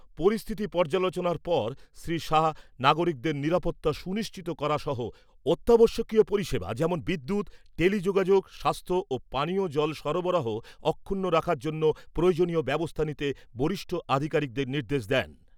পরিস্থিতি পর্যালোচনার পর শ্রী শাহ নাগরিকদের নিরাপত্তা সুনিশ্চিত করা সহ অত্যাবশ্যকীয় পরিষেবা যেমন বিদ্যুৎ, টেলিযোগাযোগ, স্বাস্থ্য ও পানীয় জল সরবরাহ অক্ষুণ্ণ রাখার জন্য প্রয়োজনীয় ব্যবস্থা নিতে বরিষ্ঠ আধিকারিকদের নির্দেশ দেন।